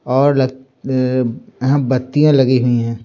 और लग यहां बत्तियां लगी हुई है।